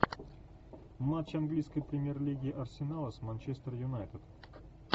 матч английской премьер лиги арсенала с манчестер юнайтед